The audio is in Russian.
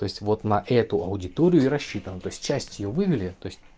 то есть вот на эту аудиторию и рассчитан то есть часть её вывели то есть